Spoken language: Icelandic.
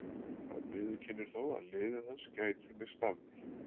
Hann viðurkennir þó að liðið hans gæti misst af því.